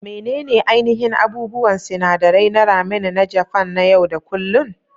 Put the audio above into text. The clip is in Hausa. Menene ainihin abubuwan sinadarai na ramen na Japan na yau da kullun?